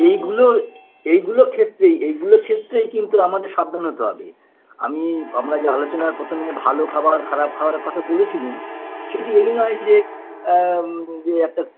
এইগুলোর এইগুলো ক্ষেত্রেই এইগুলো ক্ষেত্রেই কিন্তু আমাদের সাবধান হতে হবে আমি আমরা যে আলোচনা প্রথমে ভালো খাবার খারাপ খাবারের কথা বলেছিলুম সেটি এই নয় যে আ ইয়ে একটা